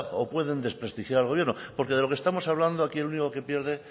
o pueden desprestigiar al gobierno porque de lo que estamos hablando aquí el único que pierde